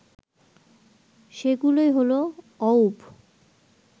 সে গুলোই হল অউব